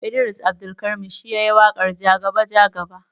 Idris Abdulkarim shi yayi waƙarJaga jaga.